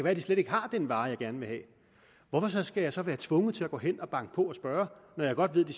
at de slet ikke har den vare jeg gerne vil have hvorfor skal jeg så være tvunget til at gå hen og banke på og spørge når jeg godt ved at de